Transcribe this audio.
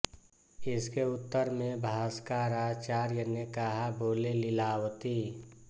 इसके उत्तर में भास्कराचार्य ने कहा बोले लीलावती